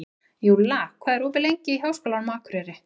Júlla, hvað er opið lengi í Háskólanum á Akureyri?